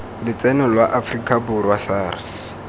lotseno lwa aforika borwa sars